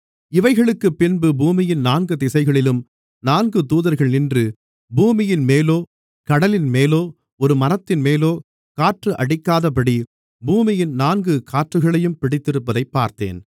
இவைகளுக்குப் பின்பு பூமியின் நான்கு திசைகளிலும் நான்கு தூதர்கள் நின்று பூமியின்மேலோ கடலின்மேலோ ஒரு மரத்தின்மேலோ காற்று அடிக்காதபடி பூமியின் நான்கு காற்றுகளையும் பிடித்திருப்பதைப் பார்த்தேன்